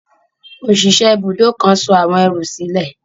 Òṣìṣẹ́ ibùdó kan sọ àwọn ẹrù sílẹ̀.